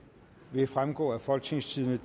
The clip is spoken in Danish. vil fremgå af folketingstidende